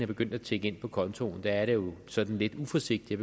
begyndt tikke ind på kontoen er det jo sådan lidt uforsigtigt